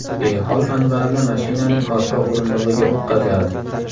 Behol Anvarni mashinaning orqa o‘rindig‘iga o‘tqazadi.